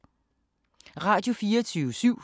Radio24syv